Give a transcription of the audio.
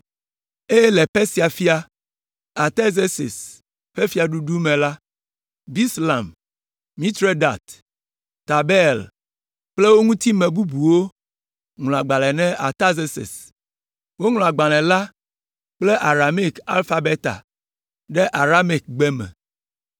Eye le Persia fia Artazerses ƒe fiaɖuɖu me la, Bislam, Mitredat, Tabeel kple wo ŋutime bubuwo ŋlɔ agbalẽ na Artazerses. Woŋlɔ agbalẽ la kple Aramaik alfabeta ɖe Aramaikgbe me.